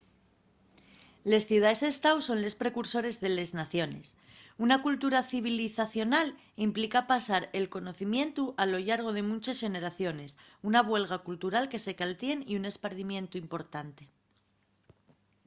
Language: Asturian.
les ciudaes-estáu son les precursores de les naciones una cultura civilizacional implica pasar el conocimientu a lo llargo de munches xeneraciones una buelga cultural que se caltién y un espardimientu importante